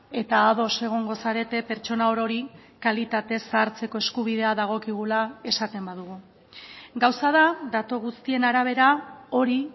eta ados egongo zarete pertsona orori kalitatez zahartzeko eskubidea dagokigula esaten badugu gauza da datu guztien arabera hori